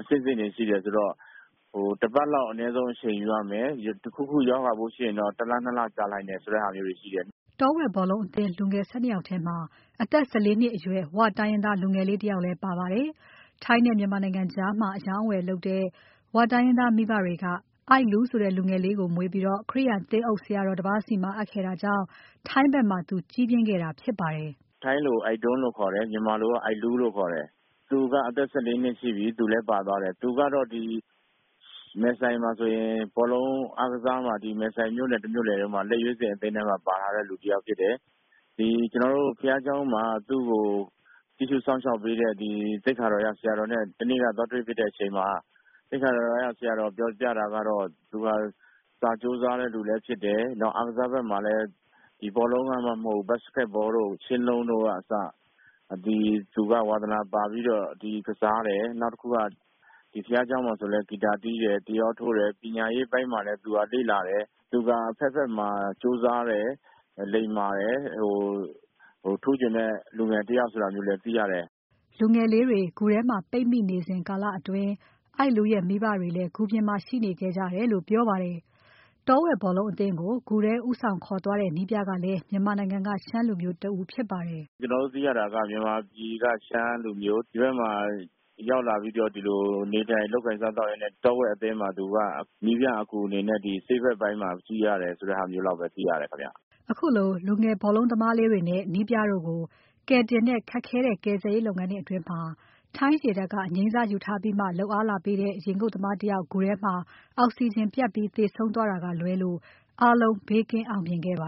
အဆင့်ဆင့်တွေရှိတယ်ဆိုတော့ တပတ်လောက်အနည်းဆုံးအချိန်ယူရမယ် တခုခု ရောဂါ ရှိရင်တော့ ၁ လ ၂ လကြာနိုင်တယ်ဆိုတာမျိုးတွေရှိတယ်။” တောဝက်ဘောလုံးအသင်းသားလူငယ် ၁၂ ယောက်ထဲမှာ အသက် ၁၄ နှစ်အရွယ် ဝတိုင်းရင်းသားလူငယ်လေးတယောက်လည်းပါပါတယ်။ ထိုင်းနဲ့မြန်မာနိုင်ငံကြား အရောင်းအဝယ်လုပ်တဲ့ ဝတိုင်းရင်းသား မိဘတွေက အိုက်လူးဆိုတဲ့ လူငယ်လေးကို မွေးပြီး ခရိယာန်သင်းအုပ် ဆရာတော်တပါးဆီမှာ အပ်ခဲ့တာကြောင့် ထိုင်းဖက်မှာ သူကြီးပြင်းခဲ့တာဖြစ်ပါတယ်။ “ထိုင်းလို ‘အိုက်ဒွန်း’ လို့ခေါ်တယ် မြန်မာလို ‘အိုက်လူး’ လို့ခေါ်တယ် သူက အသက် ၁၄ နှစ်ရှိပြီ သူလည်းပါသွားတယ်။ သူကတော့ မယ်ဆိုင်မှာဆိုရင် ဘောလုံးအားကစား မယ်ဆိုင်မြို့နယ်ထဲမှာ လက်ရွေးစင်ထဲမှာ ပါထားတဲ့တယောက်ဖြစ်တယ် ကျနော်တို့ ဘုရားကျောင်းမှာ သူ့ကိုပြုစုစောင့်ရှောက်ပေးတဲ့ သိက္ခာတော်ရဆရာနဲ့ မနေ့ကသွားတွေ့ဖြစ်တဲ့အချိန်မှာ သိက္ခာတော်ရဆရာတော်ပြောကြားတာကတော့ သူကစာကြိုးစားသူလည်းဖြစ်တယ်၊ အားကစား ဘက်မှာလည်းဘောလုံးမှမဟုတ်ဘူး ၊ Basketball မှာလည်း သူ ဝါသနာပါပြီးတော့ ကစားတယ်၊ နောက်တခုက ဘုရားကျောင်းမှာလည်း ဂီတာတီးတယ်။ တယောထိုးတယ်၊ ပညာရေးပိုင်းမှာလည်း လေ့လာတယ် အဘက်ဘက်မှာ ကြိုးစားတယ် လိမ္မာတယ် ထူးချွန်တဲ့လူတယောက်ဖြစ်တယ်ဆိုတာလည်း သိရတယ်။” လူငယ်လေးတွေဂူထဲမှာ ပိတ်မိနေစဉ်ကာလအတွင်း အိုက်လူးရဲ့ မိဘတွေလည်း ဂူပြင်မှာ ရှိနေခဲ့ကြတယ်လို့ပြောပါတယ်။ တောဝက်ဘောလုံးအသင်းကို ဂူထဲဦးဆောင်ခေါ်သွားတဲ့ နည်းပြကလည်း မြန်မာနိုင်ငံက ရှမ်းလူမျိုးတဦးဖြစ်ပါတယ်။ သူ့ရဲ့ထိုင်းနာမည်ကို Ekapol Chantawong လို့ သတင်းမီဒီယာတွေမှာ ဖော်ပြကြပါတယ်။ “ကျနော်တို့သိရတာက မြန်မာပြည်က ရှမ်းလူမျိုး၊ ဒီဘက်မှာ ရောက်လာပြီးတော့ နေထိုင်လုပ်ကိုင်စားသောက်ရင်းနဲ့ တောဝက်အသင်းမှာ နည်းပြအကူအနေနဲ့ ဆေးဘက်ပိုင်းမှာကူတယ်ဆိုတာ လောက်ပဲ သိရတယ်ခင်ဗျ။” ခုလို လူငယ်ဘောလုံးသမားလေးတွေနဲ့ နည်းပြတို့ကို ကယ်တင်တဲ့ ခက်ခဲတဲ့ကယ်ဆယ်ရေးလုပ်ငန်းအတွင်း ထိုင်းရေတပ်က အငြိမ်းစားယူထားပြီးမှ လုပ်အားလာပေးတဲ့ ရေငုပ်သမားတယောက် ဂူထဲမှာ အောက်စီဂျင်ပြတ်ပြီး သေဆုံးခဲ့တာက လွဲလို့အားလုံး ဘေးကင်းအောင်မြင်ခဲ့ပါ